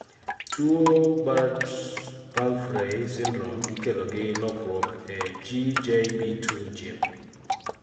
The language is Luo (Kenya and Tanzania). tuwo Bart-Pumphrey syndrome ikelo gi lokruok e GJB2 gene